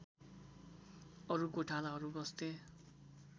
अरु गोठालाहरू बस्थे